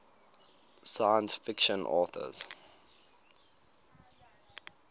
science fiction authors